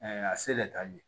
a se de ta ye